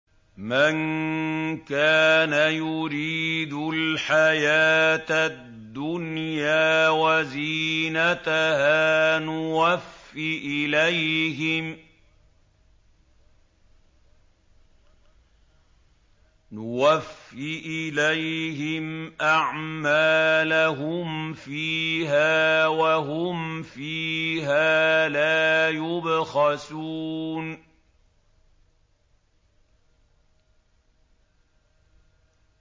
مَن كَانَ يُرِيدُ الْحَيَاةَ الدُّنْيَا وَزِينَتَهَا نُوَفِّ إِلَيْهِمْ أَعْمَالَهُمْ فِيهَا وَهُمْ فِيهَا لَا يُبْخَسُونَ